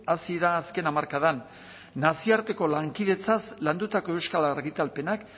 hazi da azken hamarkadan nazioarteko lankidetzaz landutako euskal argitalpenak